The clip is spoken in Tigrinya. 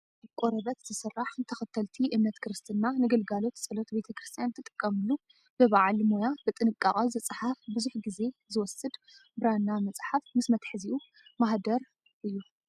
ካብ ቆርበት ዝስራሕ ንተኸተልቲ እምነት ክርስትና ንግልጋሎት ፀሎት ቤተክርስትያን ትጥቀመሉ ብበዓል ሞያ ብጥንቃቐ ዝፀሓፍ ብዙሕ ግዜ ዝወስድ ብራና መፅሓፍ ምስ መትሐዚኡ ማህደር እይ።